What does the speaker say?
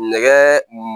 Nɛgɛ